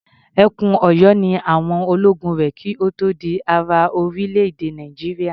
Ẹkùn Ọ̀yọ́ ni àwọn ológun rẹ̀ kí ó tó di ara orílẹ̀-èdè Nàìjíríà.